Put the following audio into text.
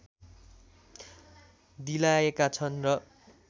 दिलायका छन् र